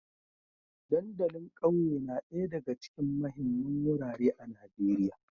Dandalin ƙauye na ɗaya daga cikin muhimman wurare a Najeriya